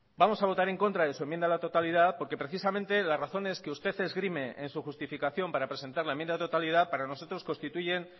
vamos a votar en contra de su enmienda a la totalidad porque precisamente las razones que usted esgrime en su justificación para presentar la enmienda de totalidad para nosotros constituyen